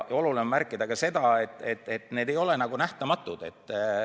Oluline on märkida ka seda, et need ei ole nähtamatud.